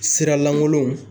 Sira lankolonw